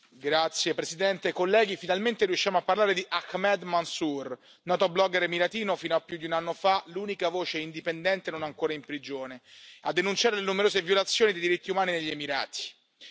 Signor Presidente, onorevoli colleghi, finalmente riusciamo a parlare di Ahmed Mansoor, noto blogger emiratino, fino a più di un anno fa l'unica voce indipendente, non ancora in prigione, a denunciare le numerose violazioni dei diritti umani negli Emirati.